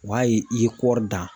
O ma ye i ye kɔɔri dan